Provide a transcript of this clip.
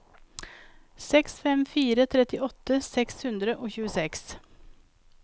seks fem fem fire trettiåtte seks hundre og tjueseks